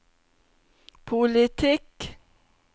politikk